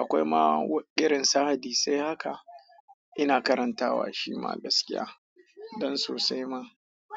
Akwai ma wa irin su hadisai haka ina karantawa shima gaskiya don sosai ma.